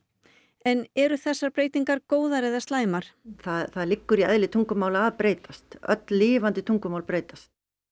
en eru þessar breytingar góðar eða slæmar það liggur í eðli tungumála að breytast öll lifandi tungumál breytast